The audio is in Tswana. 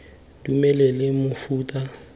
dumelele mofuta ofe kapa ofe